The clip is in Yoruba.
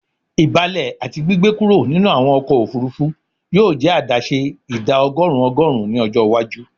Ibalẹ ati gbigbe kuro ninu awọn ọkọ ofurufu yoo jẹ adaṣe ida ọgọrun ọgọrun ni ọjọ iwaju